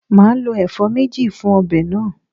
Màá lo èfó méje fun obè náà